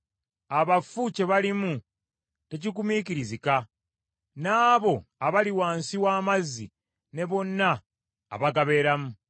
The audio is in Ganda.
“Abafu kye balimu tekigumiikirizika, n’abo abali wansi w’amazzi ne bonna abagabeeramu.